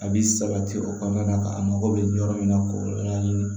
A bi sabati o kɔnɔna na a mago bɛ yɔrɔ min na k'o yɔrɔ ɲini